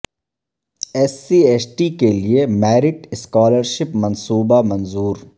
S C S T کیلئے merit scholarship منصوبہ منظور